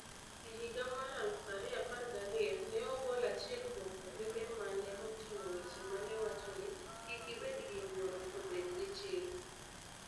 E higa mar 2012, ne ogol achiel kuom twege ma ne oting'o weche ma ne wacho ni, "Kik ibed gi luoro, to bed gi chir".